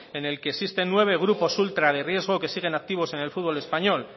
en el que existen nueve grupos ultra de riesgo que siguen activos en el futbol español